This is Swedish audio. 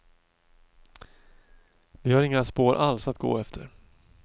Vi har inga spår alls att gå efter.